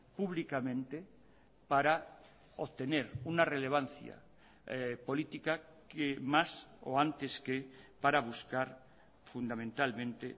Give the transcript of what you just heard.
públicamente para obtener una relevancia política que más o antes que para buscar fundamentalmente